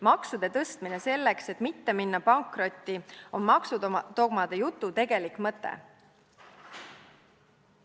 Maksude tõstmine selleks, et mitte minna pankrotti, on maksudogmade jutu tegelik mõte.